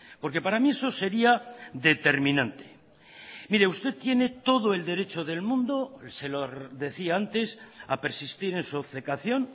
porque para mí eso sería determinante mire usted tiene todo el derecho del mundo se lo decía antes a persistir en su obcecación